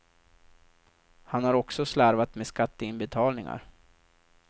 Han har också slarvat med skatteinbetalningar.